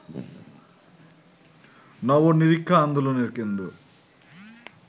নব-নিরীক্ষা আন্দোলনের কেন্দ্র